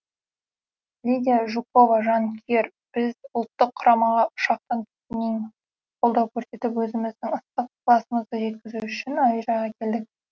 лидия жукова жанкүйер біз ұлттық құрамаға ұшақтан түскеннен қолдау көрсетіп өзіміздің ыстық ықыласымызды жеткізу үшін әуежайға келдік